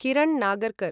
Kiran Nagarkar